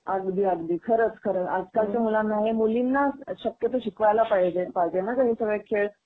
आगदी, अगदी. खरंच खरंच आजकालच्या मुलांना हे मुलींना शक्यतो शिकवायला पाहिजे हे सगळे खेळ.